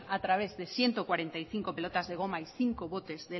a través de ciento cuarenta y cinco pelotas de goma y cinco botes